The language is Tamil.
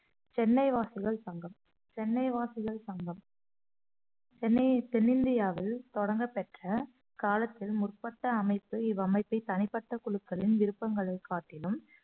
சென்னை வாசிகள் சங்கம் சென்னை வாசிகள் சங்கம் சென்னையை தென்னிந்தியாவில் தொடங்கப்பெற்ற காலத்தில் முற்பட்ட அமைப்பு இவ்வமைப்பை தனிப்பட்ட குழுக்களின் விருப்பங்களைக் காட்டிலும்